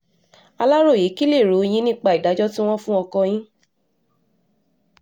aláròye kí lèrò yín nípa ìdájọ́ tí wọ́n fún ọkọ yín